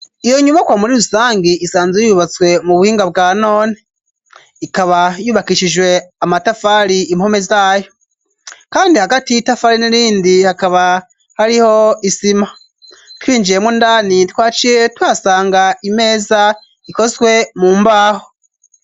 Iyo nyubakwa muri rusangi isanze yubatswe mu buhinga bwa none, ikaba yubakishijwe amatafari impome zayo kandi hagati y'itafari n'irindi hakaba hariho isima twinjiyemwo, indani twaciye tuhasanga imeza ikozwe mu mbaho.